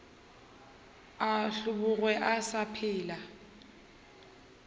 a hlobogwe a sa phela